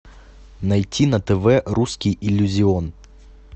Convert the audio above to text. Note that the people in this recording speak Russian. найти на тв русский иллюзион